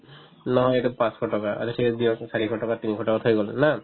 নহয়, সেইটোত পাঁচশ টকা আৰু দি আছো চাৰিশ টকা তিনিশ টকা খাই গ'লো না